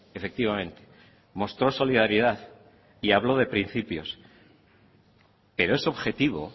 efectivamente mostró solidaridad y habló de principios pero es objetivo